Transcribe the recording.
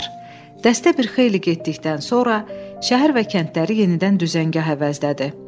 Dəstə bir xeyli getdikdən sonra şəhər və kəndləri yenidən düzəngah əvəzlədi.